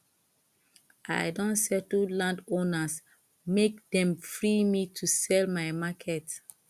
i don settle landowners make dem free me to sell my market